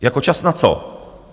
Jako čas na co?